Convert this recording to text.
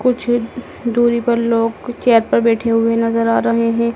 कुछ दूरी पर लोग चेयर पर बैठे हुए नजर आ रहें हैं।